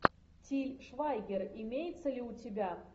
тиль швайгер имеется ли у тебя